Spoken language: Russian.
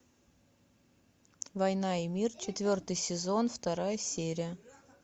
война и мир четвертый сезон вторая серия